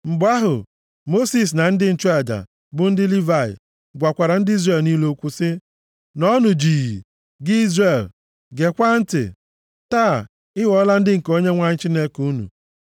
Mgbe ahụ, Mosis na ndị nchụaja, bụ ndị Livayị, gwakwara ndị Izrel niile okwu sị, “Nọọnụ jii, gị Izrel, gekwaa ntị! Taa, ị ghọọla ndị nke Onyenwe anyị Chineke unu.